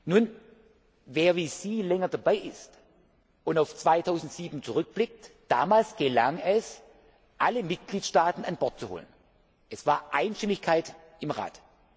Nun, wer wie Sie länger dabei ist und auf 2007 zurückblickt, weiß Damals gelang es, alle Mitgliedstaaten an Bord zu holen. Es gab Einstimmigkeit im